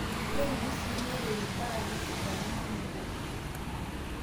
Keturi sii neiremi mpaka nesidanu nkulupuok.